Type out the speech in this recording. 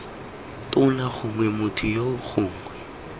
tona gongwe motho yoo gongwe